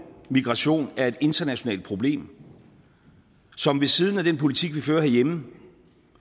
migration er et internationalt problem som ved siden af den politik vi fører herhjemme